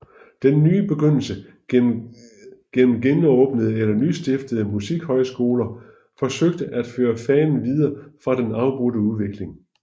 Den nye begyndelse gennem genåbnede eller nystiftede musikhøjskoler forsøgte at føre fanen videre fra den afbrudte udvikling